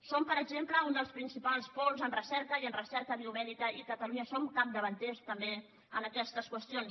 som per exemple un dels principals pols en recerca i en recerca biomèdica i a catalunya som capdavanters també en aquestes qüestions